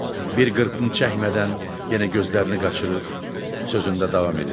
Bir qırpım çəkmədən yenə gözlərini qaçırır, sözündə davam edirdi.